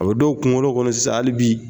O don kunkolo kɔni sisan hali bi